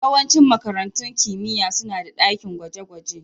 Yawancin makarantun kimiyya suna da dakin gwaje-gwaje